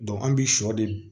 an bi sɔ de